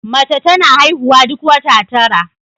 Mace tana haihuwa duk wata tara